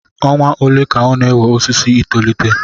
Ọnwa ole ka ọ na-ewe osisi I tolite